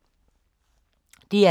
DR K